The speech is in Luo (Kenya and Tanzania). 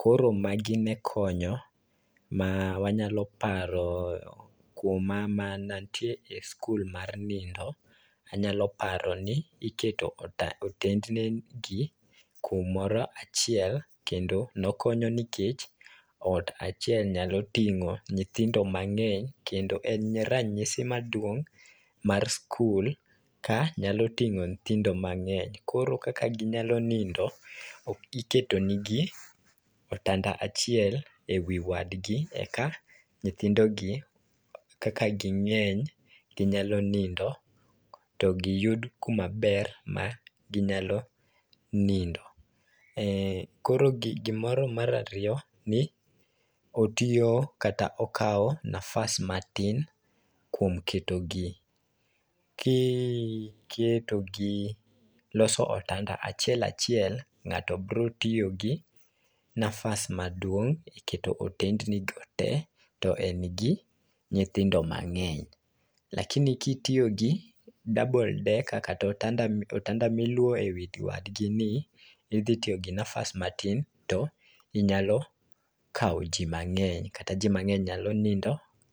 Koro magi ne konyo ma wanyalo paro kuom ma mana nantie e skul mar nindo, anyalo paro ni iketo otendnigi kumoro achiel, kendo nokonyo nikech ot achiel nyalo ting'o nyithindo mang'eny kendo en ranyisi maduong' mar skul ka nyalo ting'o nyithindo mang'eny. Koro kaka ginyalo nindo, iketo nigi otanda achiel e wi wadgi e ka nyithindogi, kaka ging'eny, ginyalo nindo to giyud kuma ber ma ginyalo nindo. Koro gimoro mar ariyo ni otiyo kata okawo nafas matin kuom ketogie. Loso otanda achiel achiel, ng'ato brotiyo gi nafas maduong' e keto otendnigo te to en gi nyithindo mang'eny, lakini kitiyo gi double decker kata otanda miluowo ewi wadgini, idhi tiyo gi nafas matin to inyalo kawo ji mang'eny kata ji mang'eny nyalo nindo.